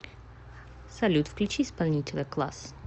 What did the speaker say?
салют включи исполнителя клаас